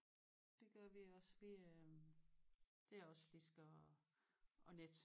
Det gør vi også det er også vi øh det er også slisker og og net